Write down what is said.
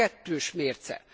Ez kettős mérce!